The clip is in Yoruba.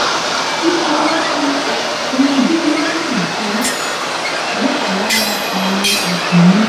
fífọwọ kan ọmọdé lọnà àìtọ wà lára àwọn ẹsùn náà